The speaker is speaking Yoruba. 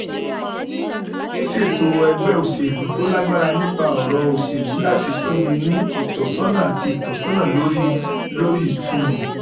Ṣíṣètò ẹgbẹ́ òṣèlú tó lágbára nípa ọ̀rọ̀ òṣèlú láti fúnni ní ìtọ́sọ́nà àti ìtọ́sọ́nà lórí lórí ìtumọ̀